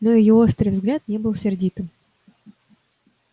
но её острый взгляд не был сердитым